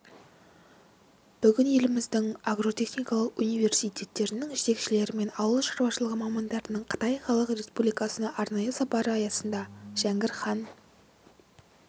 бүгін еліміздіңагротехникалық университеттерінің жетекшілері мен ауыл шаруашылығы мамандарының қытай халық республикасына арнайы сапары аясында жәңгір хан